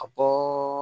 A bɔ